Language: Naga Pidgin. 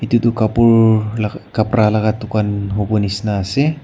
tutoh kapur la khapra laga dukan hobo nishina ase.